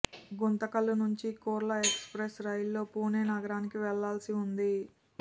గుంతకల్లు నుంచి కుర్లా ఎక్స్ప్రెస్ రైలులో పూణె నగరానికి వెళ్లాల్సి ఉంది